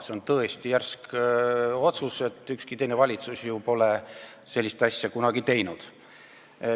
See on tõesti järsk otsus – ükski teine valitsus ju pole sellist asja kunagi teinud.